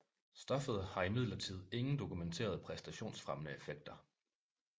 Stoffet har imidlertid ingen dokumenterede præstationsfremmende effekter